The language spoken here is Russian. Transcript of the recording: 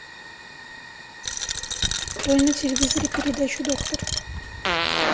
открой на телевизоре передачу доктор